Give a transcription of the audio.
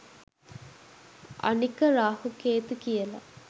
අනික රාහු කේතු කියලා